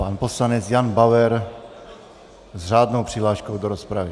Pan poslanec Jan Bauer s řádnou přihláškou do rozpravy.